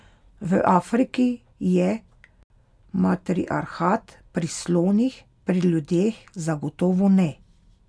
V Afriki je matriarhat pri slonih, pri ljudeh zagotovo ne.